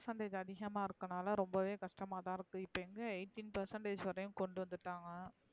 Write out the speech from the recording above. Percentage அதிகமா இருக்கனால ரொம்பவே கஷ்டமா தான் இப்ப எங்க eighteen percentage வரையும் கொண்டு வந்துட்டாங்க